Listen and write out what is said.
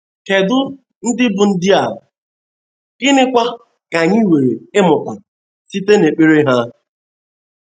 Kedụ ndị bụ́ ndị a, gịnịkwa ka anyị nwere ịmụta site n’ekpere ha?